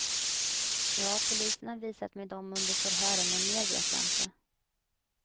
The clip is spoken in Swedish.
Ja, polisen har visat mig dom under förhören men mer vet jag inte.